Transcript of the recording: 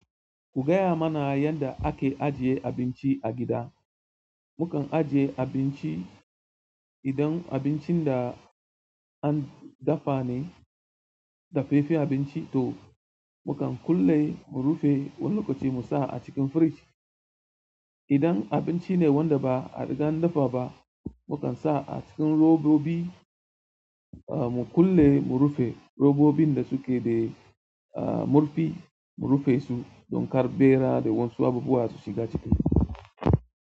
Ku gaya mana yanda ake ajiye abinci a gida. Mukan ajiye abinci, idan abincin da an dafa ne, dafe fe abinci to mu kan kulle mu rufe, wani lokaci mu sa a cikin firij. Idan abinci ne wanda ba a riga an dafa ba, mu kan sa a cikin robobi ah mu kulle mu rufe, robobin da suke dai ah murfi mu rufe su don kar ɓera da wasu abubuwa su shiga ciki.